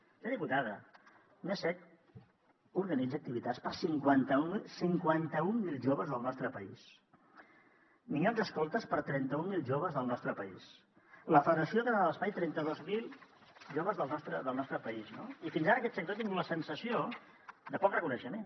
senyora diputada el mcecc organitza activitats per a cinquanta mil joves del nostre país minyons escoltes per a trenta mil joves del nostre país la federació catalana de l’esplai trenta dos mil joves del nostre país no i fins ara aquest sector ha tingut la sensació de poc reconeixement